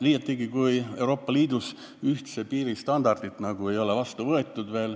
Liiatigi, kui Euroopa Liidus ühtse piiri standardit ei ole veel vastu võetud.